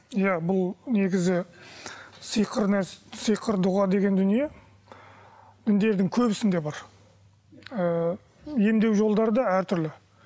иә бұл негізі сиқыр сиқыр дұға деген дүние діндердің көбісінде бар ыыы емдеу жолдары да әртүрлі